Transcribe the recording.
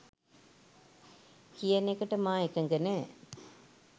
කියන එකට මා එකඟ නෑ